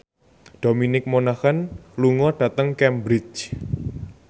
Dominic Monaghan lunga dhateng Cambridge